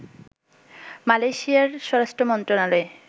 মালয়েশিয়ার স্বরাষ্ট্রমন্ত্রণালয়